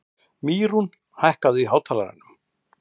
Mýrún, hækkaðu í hátalaranum.